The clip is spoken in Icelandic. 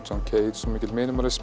mikill